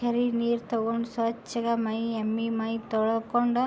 ಕೆರೆ ನೀರ್ ತಗೊಂಡು ಸ್ವಚ್ ಮೈ ಎಮ್ಮಿ ಮೈ ತೊಳಕೊಂಡು --